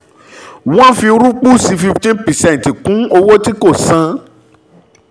wọ́n fi rúpúsì fifteen percent kún owó tí kò san